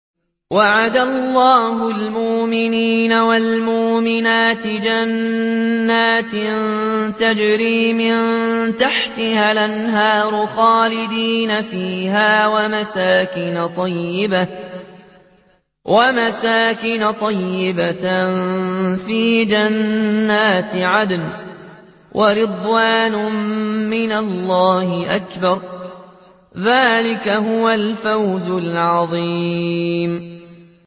وَعَدَ اللَّهُ الْمُؤْمِنِينَ وَالْمُؤْمِنَاتِ جَنَّاتٍ تَجْرِي مِن تَحْتِهَا الْأَنْهَارُ خَالِدِينَ فِيهَا وَمَسَاكِنَ طَيِّبَةً فِي جَنَّاتِ عَدْنٍ ۚ وَرِضْوَانٌ مِّنَ اللَّهِ أَكْبَرُ ۚ ذَٰلِكَ هُوَ الْفَوْزُ الْعَظِيمُ